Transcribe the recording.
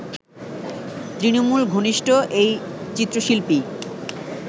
তৃণমূল ঘনিষ্ঠ এই চিত্রশিল্পী